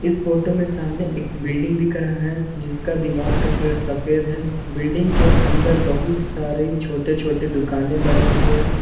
इस फोटो में सामने एक बिल्डिंग दिख रहा है जिसका दीवार का कलर सफेद है बिल्डिंग के अंदर बहुत सारे छोटे छोटे दुकानें बनी हुई है।